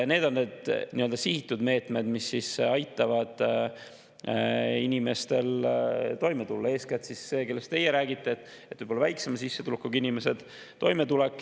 Need on sihitud meetmed, mis aitavad inimestel, eeskätt neil, kellest teie räägite – väiksema sissetulekuga inimesed –, toime tulla.